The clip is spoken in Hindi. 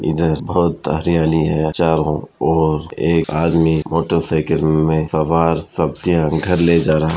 इधर बहुत हरियाली हैं चारों ओर एक आदमी मोटर साइकिल में सवार सब्जियाँ घर ले जा रहा --